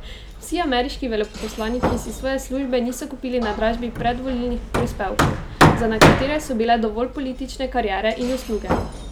Vsi ameriški veleposlaniki si svoje službe niso kupili na dražbi predvolilnih prispevkov, za nekatere so bile dovolj politične kariere in usluge.